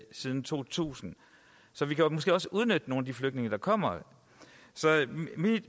siden to tusind så vi kan måske også udnytte nogle af de flygtninge der kommer